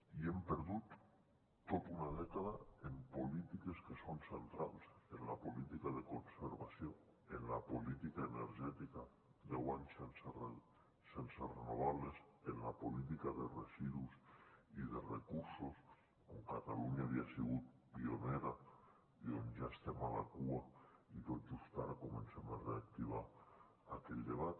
i hem perdut tota una dècada en polítiques que són centrals en la política de con servació en la política energètica deu anys sense renovables en la política de residus i de recursos on catalunya havia sigut pionera i on ja estem a la cua i tot just ara comencem a reactivar aquell debat